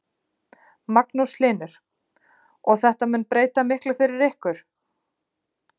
Magnús Hlynur: Og þetta mun breyta miklu fyrir ykkur?